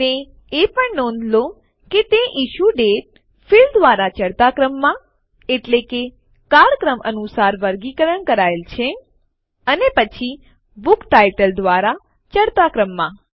અને એ પણ નોંધ લો કે તે ઇશ્યુ દાતે ફિલ્ડ દ્વારા ચઢતા ક્રમમાં એટલે કે કાળક્રમાનુંસાર વર્ગીકરણ કરાયેલ છે અને પછી બુક ટાઇટલ દ્વારા ચઢતા ક્રમમાં